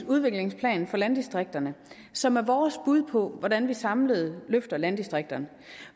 udviklingsplan for landdistrikterne som er vores bud på hvordan vi samlet løfter landdistrikterne